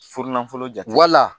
Furu nanfolo jate wala